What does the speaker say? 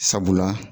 Sabula